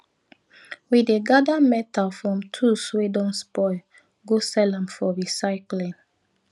we dey gather metal from tools wey don spoil go sell am for recycling